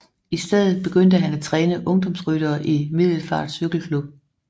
I stedet begyndte han at træne ungdomsryttere i Middelfart Cykel Club